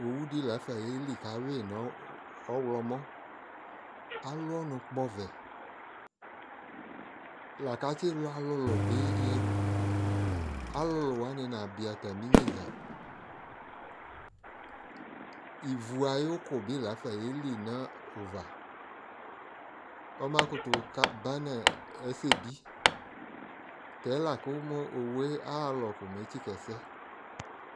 ɔwʋ di laƒa yɛli kʋ awi nʋ ɔwlɔmʋ, alʋ ɔnʋ kpɔ ɔvɛ lakʋ atsi lʋ alʋlʋ bi yɛdʋ, alʋlʋ wani nabi atami inyɛnza, ivʋ ayʋkʋ bi laƒa yɛlinʋ ʋva, ɔma kʋtʋ banʋ ɛsɛbi, tɛ lakʋ ɔwʋɛ alɔ kɔ mɛ ɛtsika ɛsɛ